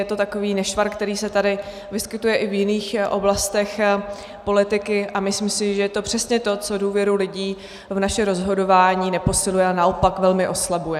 Je to takový nešvar, který se tady vyskytuje i v jiných oblastech politiky, a myslím si, že je to přesně to, co důvěru lidí v naše rozhodování neposiluje, ale naopak velmi oslabuje.